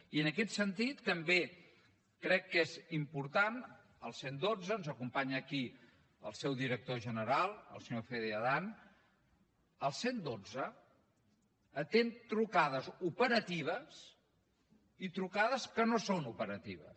i en aquest sentit també crec que és important el cent i dotze ens acompanya aquí el seu director general el senyor fede adan el cent i dotze atén trucades operatives i trucades que no són operatives